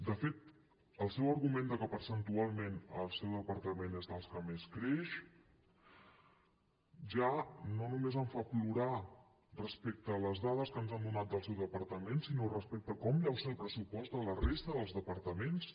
de fet el seu argument de que percentualment el seu departament és dels que més creix ja no només em fa plorar respecte a les dades que ens han donat del seu departament sinó respecte de com deu ser el pressupost de la resta de departaments